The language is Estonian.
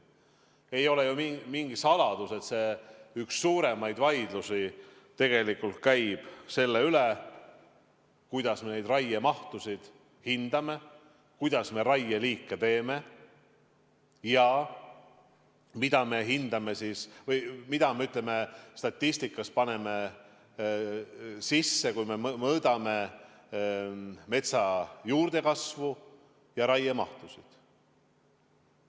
Ei ole ju mingi saladus, et üks suuremaid vaidlusi käib tegelikult selle üle, kuidas me raiemahtusid hindame, kuidas me raieliike teeme ja mida me statistikas n-ö sisse paneme, kui mõõdame metsa juurdekasvu ja raiemahtusid.